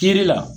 Kiri la